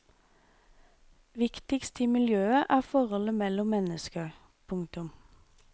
Viktigst i miljøet er forholdet mellom mennesker. punktum